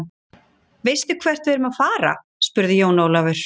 Veistu hvert við erum að fara, spurði Jón Ólafur.